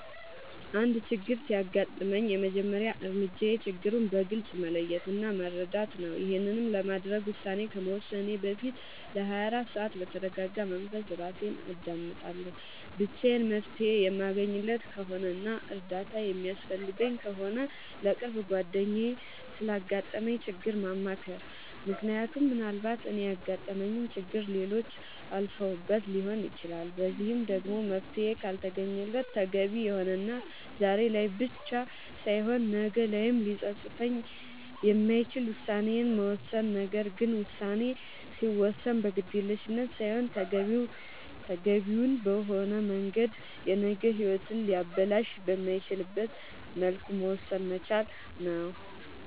አንድ ችግር ሲያጋጥመኝ የመጀመሪያ እርምጃዬ ችግሩን በግልፅ መለየት እና መረዳት ነዉ ይሄንንም ለማድረግ ውሳኔ ከመወሰኔ በፊት ለ24 ሰዓት በተርጋጋ መንፈስ እራሴን አዳምጣለሁ ብቻዬን መፍትሄ የማለገኝለት ከሆነና እርዳታ የሚያስፈልገኝ ከሆነ ለቅርብ ጓደኛዬ ስላጋጠመኝ ችግር ማማከር ምክንያቱም ምናልባት እኔ ያጋጠመኝን ችግር ሌሎች አልፈውበት ሊሆን ይችላል በዚህም ደግሞ መፍትሄ ካልተገኘለት ተገቢ የሆነና ዛሬ ላይ ብቻ ሳይሆን ነገ ላይም ሊፀፅት የማይችል ውሳኔን መወሰን ነገር ግን ውሳኔ ሲወሰን በግዴለሽነት ሳይሆን ተገቢውን በሆነ መንገድ የነገ ሂወትን ሊያበላሽ በማይችልበት መልኩ መወሰን መቻል ነዉ